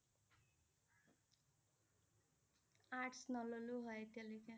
Arts নললো হয় এতিয়া লৈকে